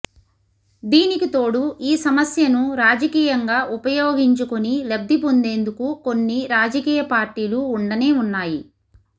దీనికితోడు ఈ సమస్యను రాజకీయంగా ఉపయోగించుకుని లబ్దిపొందేందుకు కొన్ని రాజకీయ పార్టీలు ఉండనే ఉన్నాయి